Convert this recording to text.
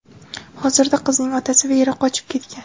Hozirda qizning otasi va eri qochib ketgan.